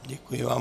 Děkuji vám.